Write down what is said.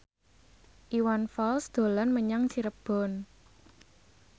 Iwan Fals dolan menyang Cirebon